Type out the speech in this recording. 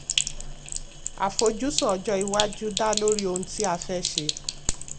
àfojúsùn ọjọ́ iwájú dá lórí ohun tí a fẹ́ ṣe.